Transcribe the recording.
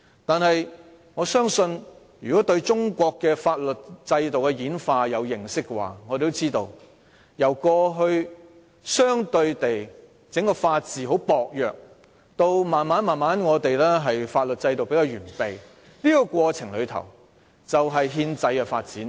但是，我相信對中國法律制度的演化有認識的同事也知道，中國過去法治相對薄弱，逐漸發展出比較完備的法律制度，這就是憲制發展的過程。